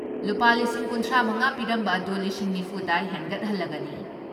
ꯂꯨꯄꯥ ꯂꯤꯁꯤꯡ ꯀꯨꯟꯊ꯭ꯔꯥ ꯃꯉꯥ ꯄꯤꯔꯝꯕ ꯑꯗꯨ ꯂꯤꯁꯤꯡ ꯅꯤꯐꯨ ꯗ ꯍꯦꯟꯒꯠꯍꯜꯂꯒꯅꯤ ꯫